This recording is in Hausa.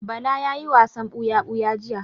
Bala ya yi wasan buya-buya jiya.